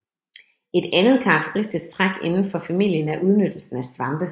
Et andet karakteristisk træk inden for familien er udnyttelsen af svampe